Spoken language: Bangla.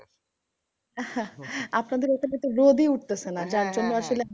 আপনাদের ওখানে তো রোদই উঠতেছে না। যার জন্যে আসলে।